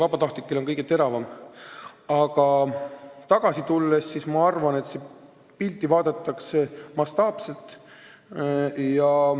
Aga jutu alguse juurde tagasi tulles ma arvan, et pilti tõesti vaadatakse mastaapselt.